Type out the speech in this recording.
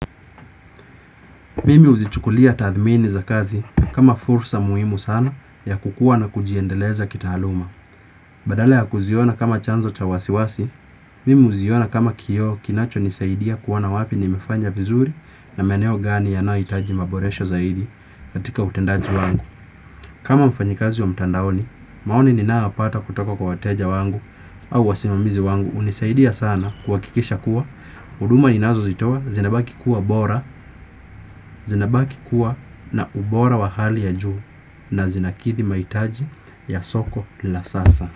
Mimi huzichukulia tathmini za kazi kama fursa muhimu sana ya kukua na kujiendeleza kitaaluma. Badala ya kuziona kama chanzo cha wasiwasi, mimi huziona kama kioo kinacho nisaidia kuona wapi nimefanya vizuri na maeneo gani yanayohitaji maboresho zaidi katika utendaji wangu. Kama mfanyikazi wa mtandaoni, maoni ninayopata kutoka kwa wateja wangu au wasimamizi wangu hunisaidia sana kuhakikisha kuwa, huduma inazozitoa, zinabaki kuwa bora, zinabaki kuwa na ubora wa hali ya juu na zinakithi maitaji ya soko la sasa.